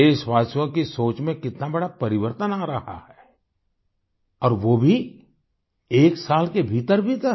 देशवासियों की सोच में कितना बड़ा परिवर्तन आ रहा है और वो भी एक साल के भीतरभीतर